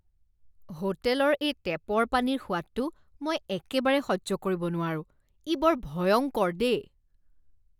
হোটেলৰ এই টেপৰ পানীৰ সোৱাদটো মই একেবাৰে সহ্য কৰিব নোৱাৰোঁ, ই বৰ ভয়ংকৰ দেই।